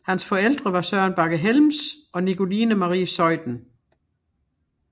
Hans forældre var Søren Bagge Helms og Nicoline Marie Zeuthen